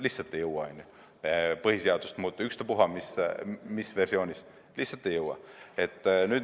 Lihtsalt ei jõua põhiseadust muuta, ükstaspuha mis versioonis, lihtsalt ei jõua.